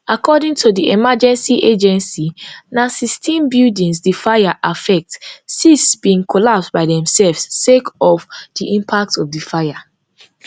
according to di emergency agency na sixteen buildings di fire affect six bin collapse by themselves sake of di impact of di fire